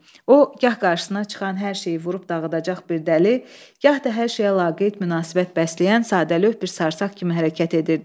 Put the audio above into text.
O gah qarşısına çıxan hər şeyi vurub dağıdacaq bir dəli, gah da hər şeyə laqeyd münasibət bəsləyən sadəlövh bir sarsaq kimi hərəkət edirdi.